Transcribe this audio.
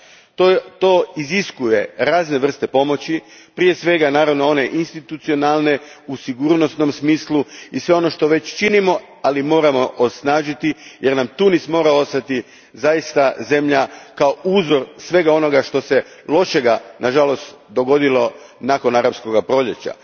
To iziskuje razne vrste pomoći, prije svega institucionalne, u sigurnosnom smislu, i sve ono što već činimo, ali moramo osnažiti jer nam Tunis mora ostati kao uzor svega onoga lošeg što se, nažalost, dogodilo nakon arapskog proljeća.